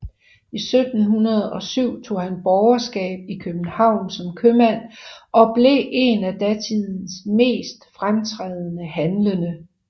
I 1707 tog han borgerskab i København som købmand og blev en af datidens mest fremtrædende handlende